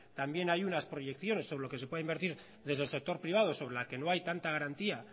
también hay unas proyecciones sobre lo que se puede invertir desde el sector privado sobre la que no hay tanta garantía